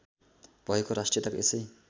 भएको राष्ट्रियताको यसै